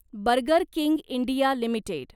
burger King India limited